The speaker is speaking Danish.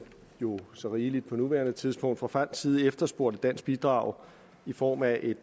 jo så rigeligt på nuværende tidspunkt fra fransk side efterspurgt et dansk bidrag i form af et